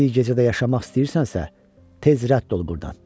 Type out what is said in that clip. Bir gecə də yaşamaq istəyirsənsə, tez rədd ol burdan.